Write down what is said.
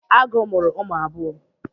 Agu muru umu abuo